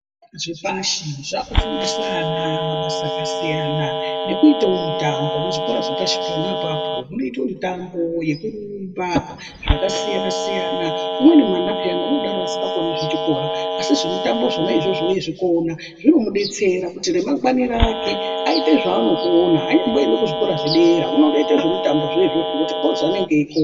Zvikora zvepashi zvakufundisa ana mabasa akasiyana nokuitawo mutambo kuzvikora zvepashi pona apapo kunoitwe mitambo yekurumba zvakasiyana siyana umweni mwana peyana unodaro asikakoni zvechikora asi zvemutambo zvona izvozvo ezvikona zvinomudetsera kuti remangwana rake aite zvaanokona anyamboenda kuzvikora zvedera unongoita zvemutambozvo izvozvo ngokuti ndozvanenge eikona.